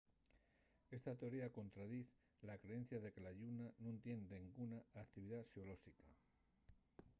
esta teoría contradiz la creencia de que la lluna nun tien denguna actividá xeolóxica